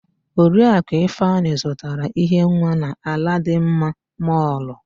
Oriakụ Ifeanyị zụtara íhé nwa na Aladịmma mọlụ.